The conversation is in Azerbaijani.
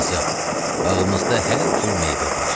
Qızım, bağımızda hər cür meyvə var.